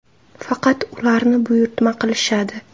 Faqat ularni buyurtma qilishadi.